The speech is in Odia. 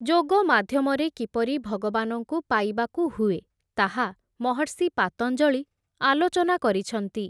ଯୋଗ ମାଧ୍ୟମରେ, କିପରି ଭଗବାନଙ୍କୁ ପାଇବାକୁ ହୁଏ, ତାହା ମହର୍ଷି ପାତଞ୍ଜଳି ଆଲୋଚନା କରିଛନ୍ତି ।